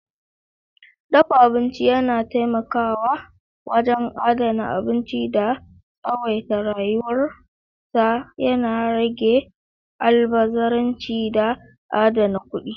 Dafa abinci yana taimakawa wajen adana abinci da tsawaita rayuwar sa, yana rage almubazzaranci da adana kuɗi.